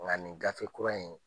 Nka nin gafe kura in